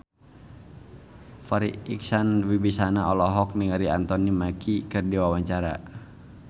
Farri Icksan Wibisana olohok ningali Anthony Mackie keur diwawancara